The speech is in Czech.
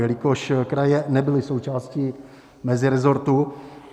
Jelikož kraje nebyly součástí mezirezortu.